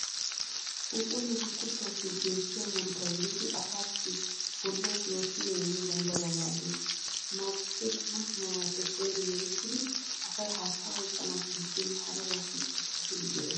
Phuuphphulleti Kuttuwaappe beettiya muruta gididi asaassi bollawu pirootiiniya immiyogan daruwa maaddeees. Maabukkee dumma dummabaappe seeri merettidi asay haattaa oyqqanaassi gidin harabaassikka keehi go'ees.